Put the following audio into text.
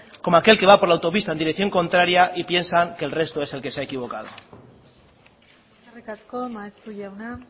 como aquel que va por la autopista en dirección contraria y piensa que el resto es el que se ha equivocado eskerrik asko maeztu jauna